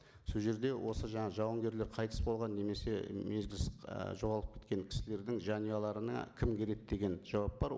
сол жерде осы жаңа жауынгерлер қайтыс болған немесе мезгілсіз ы жоғалып кеткен кісілердің жанұяларына кім кіреді деген жауап бар